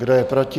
Kdo je proti?